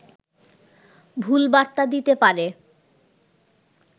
ভুল বার্তা দিতে পারে